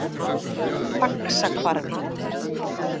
Faxahvarfi